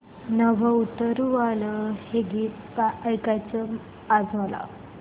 नभं उतरू आलं हे गीत ऐकायचंय आज मला